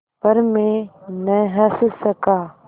पर मैं न हँस सका